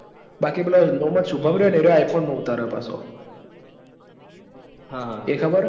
બાકી પેલો મોહમદ સુજન રયોન એ iphone મો ઉતાર હ પાશો એ ખબર હ